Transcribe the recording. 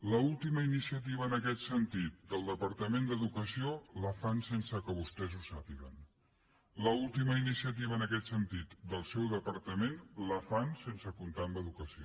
l’última iniciativa en aquest sentit del departament d’educació la fan sense que vostès ho sàpiguen l’última iniciativa en aquest sentit del seu departament la fan sense comptar amb educació